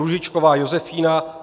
Růžičková Josefína